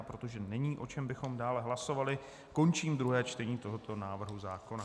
A protože není, o čem bychom dále hlasovali, končím druhé čtení tohoto návrhu zákona.